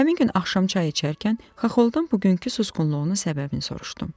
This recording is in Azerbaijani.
Həmin gün axşam çay içərkən Xaxoldan bugünkü susqunluğunun səbəbini soruşdum.